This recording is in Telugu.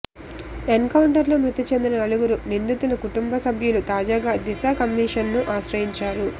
ఎన్కౌంటర్లో మృతిచెందిన నలుగురు నిందితుల కుటుంబ సభ్యులు తాజాగా దిశ కమిషన్ను ఆశ్రయించారు